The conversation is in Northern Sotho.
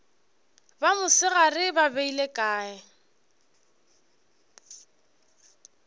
ba mosegare ba beile kae